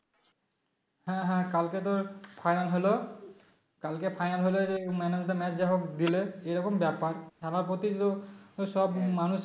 হ্যাঁ হ্যাঁ কালকে তোর Final হল কালকে final হলে যে man of the match যাহোক দিলে এরকম ব্যাপার খেলার প্রতি তো সব মানুষের